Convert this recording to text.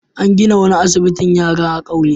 An gina wani asbitin yara a kauyen.